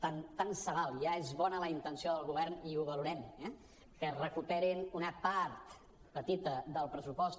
tant se val ja és bona la intenció del govern i ho valorem eh que es recuperin una part petita del pressupost